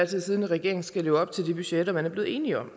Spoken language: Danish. tid siddende regering skal leve op til de budgetter man er blevet enig om